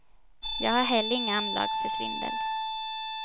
Jag har heller inga anlag för svindel.